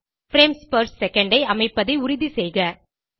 frames per second ஐ அமைப்பதை உறுதிசெய்க